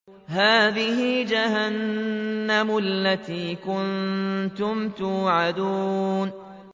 هَٰذِهِ جَهَنَّمُ الَّتِي كُنتُمْ تُوعَدُونَ